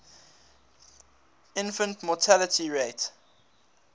infant mortality rate